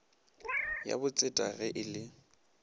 ya botseta ge e le